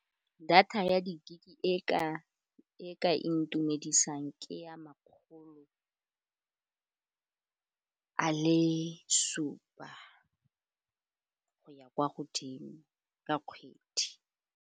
Data ya di-gig-e, e ka intumedisa ke ya makgolo a le supa go ya kwa godimo ka kgwedi.